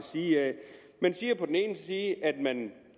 side man siger at man